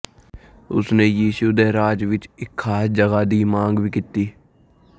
ਉਸ ਨੇ ਯਿਸੂ ਦੇ ਰਾਜ ਵਿਚ ਇਕ ਖ਼ਾਸ ਜਗ੍ਹਾ ਦੀ ਮੰਗ ਵੀ ਕੀਤੀ